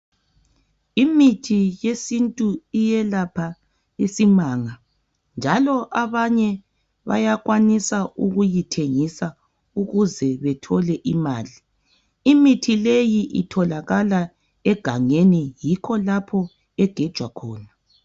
Imithi yesintu iyelapha isimanga njalo abanye bayakwanisa ukuyithengisa ukuze bethole imali. Imithi leyi itholakala egangeni yikho lapha egejwa khona